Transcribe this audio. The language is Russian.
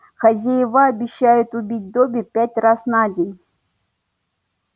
хозяева обещают убить добби пять раз на день